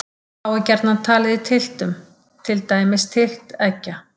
Þá er gjarnan talið í tylftum, til dæmis tylft eggja.